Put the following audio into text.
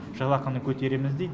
жалақыны көтереміз дейді